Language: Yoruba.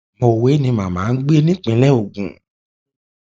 mọwé ni màmá ń gbé nípìnlẹ ogun